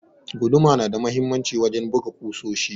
Guduma na da muhimmanci wajen buga kusoshi.